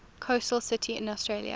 coastal cities in australia